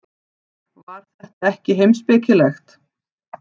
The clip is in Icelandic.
Var þetta ekki heimspekilegt?